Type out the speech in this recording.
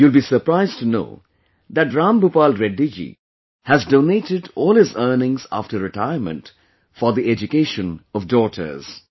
You will be surprised to know that Ram Bhupal Reddy ji has donated all his earnings after retirement for the education of daughters